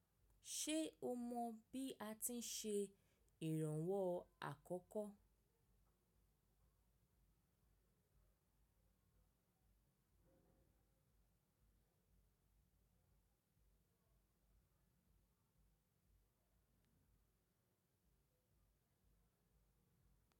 Ṣe o mọ bi a ti n ṣe iranwọ akọkọ?